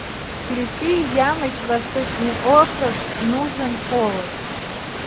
включи ямыч восточный округ нужен повод